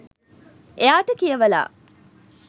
එයාට කියවලා